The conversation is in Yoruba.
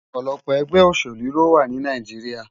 Òpòlòpò ègbè óṣélú lówá ni Náijiriá